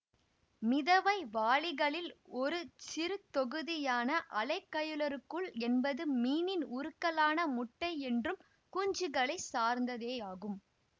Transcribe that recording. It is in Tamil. மிதவைவாழிகளில் ஒரு சிறுத்தொகுதியான அலைக்கயலுருக்கள் என்பது மீனின் உருக்களான முட்டை மற்றும் குஞ்சுகளைச் சார்ந்ததேயாகும்